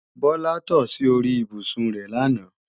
Bọ́lá tò sí orí ibùsùn rẹ làná